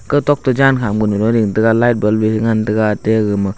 ga tho toh jan kha ma light ball ya ngan taiga ta ga.